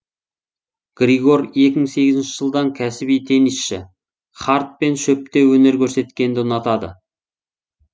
григор екі мың сегізінші жылдан кәсіби теннисшы хард пен шөпте өнер көрсеткенді ұнатады